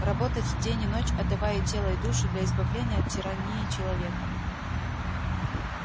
работать день и ночь отдавая и тело и душу для избавления от тирании человека